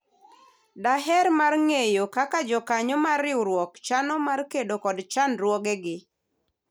daher mar ng'eyo kaka jokanyo mar riwruok chano mar kedo kod chandruoge gi